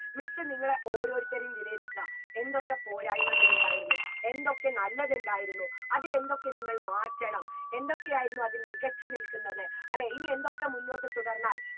miss നിങ്ങളെ ഓരോരുത്തരെയും വിലയിരുത്താം എന്തൊക്കെ പോരായ്മകളുണ്ടായിരുന്നു എന്തൊക്കെ നല്ലതുണ്ടായിരുന്നു അതിലെന്തൊക്കെ നിങ്ങൾ മാറ്റണം എന്തൊക്കെയായിരുന്നു അതിൽ മികച്ചു നിൽക്കുന്നത് അല്ലെ ഇനി എന്തൊക്കെ മുന്നോട്ട് തുടർന്നാൽ